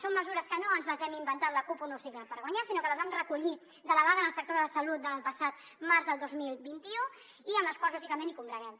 són mesures que no ens les hem inventat la cup un nou cicle per guanyar sinó que les vam recollir de la vaga en el sector de la salut del passat març del dos mil vint u i amb les quals lògicament combreguem